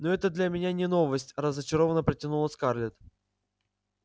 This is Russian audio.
ну это для меня не новость разочарованно протянула скарлетт